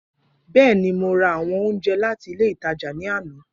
Bẹẹni, Mo ra awọn ounjẹ lati ile itaja ni ana.